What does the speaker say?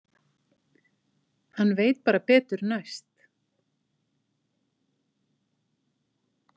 Hann veit bara betur næst.